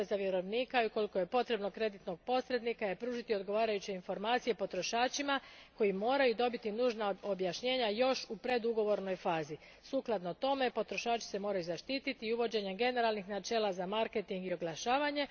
Obveza vjerovnika i, ukoliko je potrebno, kreditnog posrednika je pružiti odgovarajuće informacije potrošačima koji moraju dobiti nužna objašnjenja još u predugovornoj fazi. Sukladno tome potrošači se moraju zaštititi i uvođenjem generalnih načela za marketing i oglašavanje.